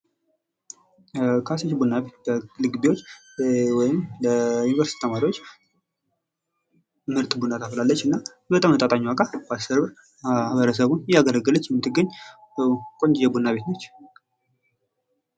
ካሰች ቡና ቤት ለዩኒቨርሲቲ ተማሪዎች ምርጥ ቡና ታፈላለች በተመጣጣኝ ዋጋ በ 10 ብር ማህበረሰቡን እያገለገለች የምትገኝ ቆንጅዬ ቡና ቤት ነች።